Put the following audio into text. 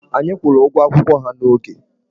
Anyị kwụrụ ụgwọ akwụkwọ ha n'oge.